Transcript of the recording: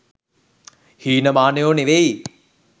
හීන මානයො නෙවෙයි.